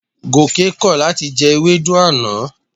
Gòkè kọ̀ láti jẹ ewédú àná.